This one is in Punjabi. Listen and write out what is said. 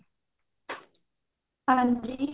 ਹਾਂਜੀ